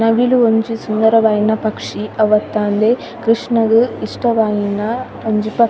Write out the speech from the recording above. ನವಿಲ್ ಒಂಜಿ ಸುಂದರವಾಯಿನ ಪಕ್ಷಿ ಅವತ್ತಾಂದೆ ಕ್ರಷ್ಣ ಗ್ ಇಷ್ಟ ವಾಯಿನಿ ಒಂಜಿ ಪಕ್ಷಿ.